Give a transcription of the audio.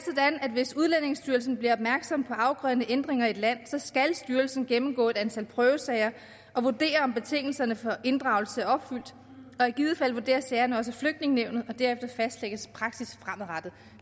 at hvis udlændingestyrelsen bliver opmærksom på afgørende ændringer i et land skal styrelsen gennemgå et antal prøvesager og vurdere om betingelserne for inddragelse er opfyldt og i givet fald vurderes sagerne også i flygtningenævnet derefter fastlægges praksis fremadrettet og